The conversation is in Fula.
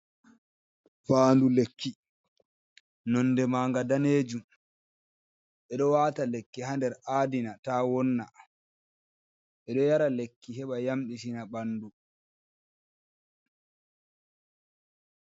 Faandu lekki, nonde manga daneejum ɓe ɗo waata lekki haa nder aadina, ta-ta wonna, ɓe ɗo yara lekki heɓa yamɗitina ɓandu.